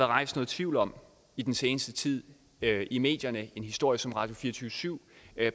rejst noget tvivl om i den seneste tid i medierne af en historie som radio24syv